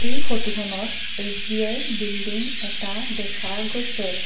এই ফটোখনত SBI building এটা দেখা গৈছে।